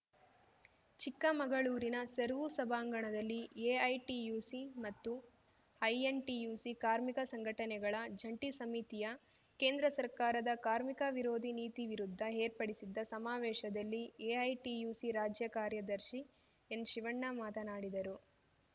ಚಿಕ್ಕಮಗಳೂರಿನ ಸರ್ವೂ ಸಭಾಂಗಣದಲ್ಲಿ ಎಐಟಿಯುಸಿ ಮತ್ತು ಐಎನ್‌ಟಿಯುಸಿ ಕಾರ್ಮಿಕ ಸಂಘಟನೆಗಳ ಜಂಟಿ ಸಮಿತಿಯ ಕೇಂದ್ರ ಸರ್ಕಾರದ ಕಾರ್ಮಿಕ ವಿರೋಧಿ ನೀತಿ ವಿರುದ್ಧ ಏರ್ಪಡಿಸಿದ್ದ ಸಮಾವೇಶದಲ್ಲಿ ಎಐಟಿಯುಸಿ ರಾಜ್ಯ ಕಾರ್ಯದರ್ಶಿ ಎನ್‌ಶಿವಣ್ಣ ಮಾತನಾಡಿದರು